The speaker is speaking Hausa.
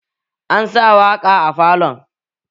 Ansa waƙa a falon